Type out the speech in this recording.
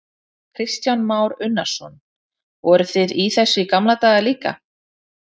Kristján Már Unnarsson: Voruð þið í þessu í gamla daga líka?